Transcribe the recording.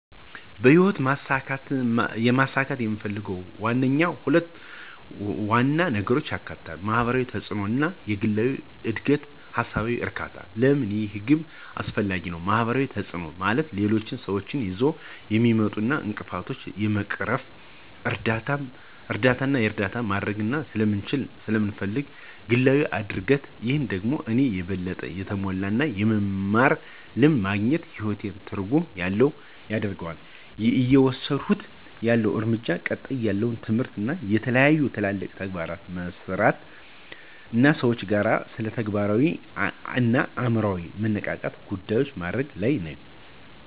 በህይወት ማሳካት የምፈልገው ዋነኛው ግብ ሁለት ዋና ነገሮችን ያካትታል፦ የማህበራዊ ተጽእኖ እና የግላዊ እድገትና ሃሳባዊ እርካታ? ለምን ይህ ግብ አስፈላጊ ነው? ማህበራዊ ተጽእኖ፦ ማለት ሌሎች ስዎች ይዘው የሚመጡትን እንቅፍቶችን ለመቅረፍ እርዳታና እርዳታ ማድርግ ስለምችልና ስለመፈልግ። ግላዊ እድግት፦ ይህ ደግሞ እኔን የበለጠ የተሞላ እና የመማር ልምድ ማግኝት ህይወቴን ትርጉም ያለው ያደርገዋል። እየወስድኩት ያለሁ እርምጃዎች፦ ቀጣይነት ያለው ትምህርት፣ የተለያዩ ትልልቅ ተግባራትን መሠራት አና ከሰዎች ጋር ስለተግባራዊ አና የአምሮ መነቃቃት ጉዳዮችን ማድርግ ለይ ነኝ።